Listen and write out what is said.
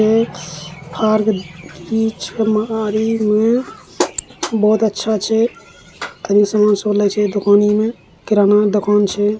एक किराना दुकान छे ।